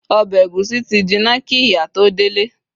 obe egusi ti jina ki ìyá to delẹ